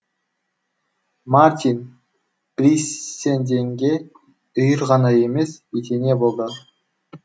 мартин бейссенденге үйір ғана емес етене болды